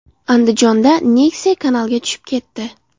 Andijonda Nexia kanalga tushib ketdi.